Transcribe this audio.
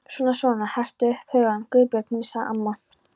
Svona svona, hertu upp hugann, Guðbjörg mín sagði amma.